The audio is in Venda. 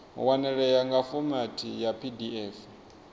wanalea nga fomathi ya pdf